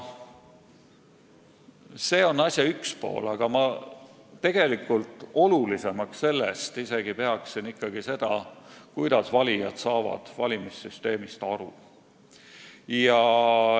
See on asja üks pool, aga ma pean sellest isegi olulisemaks seda, kuidas saavad valijad valimissüsteemist aru.